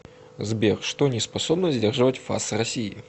сбер что не способно сдерживать фас россии